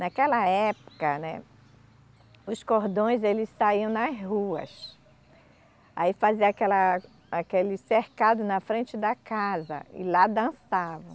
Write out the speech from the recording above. Naquela época, né, os cordões eles saíam nas ruas, aí fazia aquela aquele cercado na frente da casa e lá dançavam.